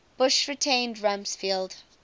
bush retained rumsfeld